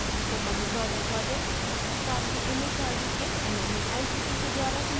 spoken tutorial project Bharat सरकार के M H R D के nmeict के द्वारा समर्थित है